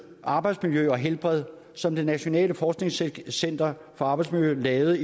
arbejdsmiljø og helbred i som det nationale forskningscenter for arbejdsmiljø lavede